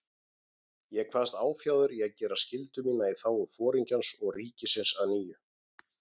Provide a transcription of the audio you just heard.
Ég kvaðst áfjáður í að gera skyldu mína í þágu Foringjans og ríkisins að nýju.